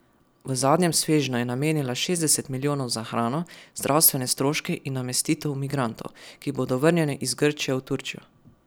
V zadnjem svežnju je namenila šestdeset milijonov za hrano, zdravstvene stroške in namestitev migrantov, ki bodo vrnjeni iz Grčije v Turčijo.